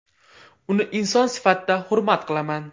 Uni inson sifatida hurmat qilaman.